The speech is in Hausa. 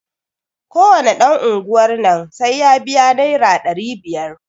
Ko wane ɗan unguwar nan sai ya biya naira ɗari biyar.